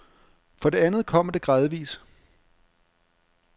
For det andet kommer det gradvis.